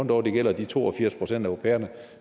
dog gælder de to og firs procent af au pairerne